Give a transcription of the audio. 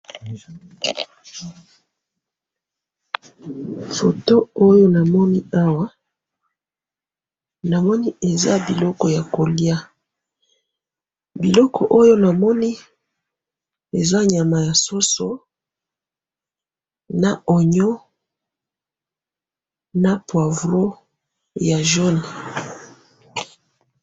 Eloko na moni awa, eza biloko ya kolia, eza nyama ya mbisi na ognon , poivreau...